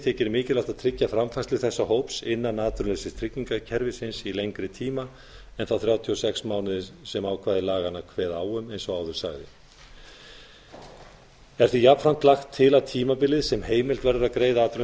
þykir mikilvægt að tryggja framfærslu þessa hóps innan atvinnuleysistryggingakerfisins í lengri tíma en þá þrjátíu og sex mánuði sem ákvæði laganna kveða á um eins og áður sagði er því jafnframt lagt til að tímabilið sem heimilt verður að greiða